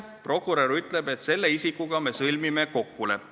Prokurör ütleb, et selle isikuga me sõlmime kokkuleppe.